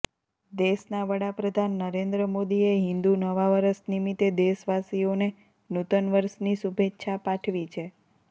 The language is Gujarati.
દેશના વડાપ્રધાન નરેન્દ્ર મોદીએ હિન્દુ નવા વરસ નિમિત્તે દેશવાસીઓને નૂતન વર્ષની શુભેચ્છા પાઠવી છે